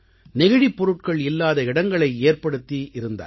நெகிழிப் பொருட்கள் இல்லாத இடங்களை ஏற்படுத்தி இருந்தார்கள்